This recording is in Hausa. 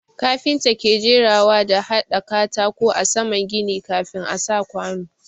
Kafinta ke jerawa da hada katako a saman gini kafin a sa kwanu.